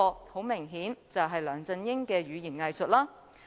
很明顯，這便是梁振英的語言"偽術"了。